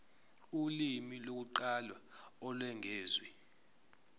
ulimi lokuqala olwengeziwe